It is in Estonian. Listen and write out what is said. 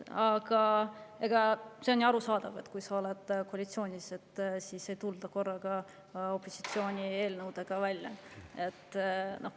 Aga see on ju arusaadav, et kui ollakse koalitsioonis, siis ei tulda korraga opositsiooni eelnõudega välja.